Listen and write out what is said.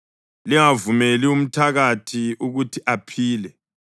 Lingavumeli umthakathi ukuthi aphile.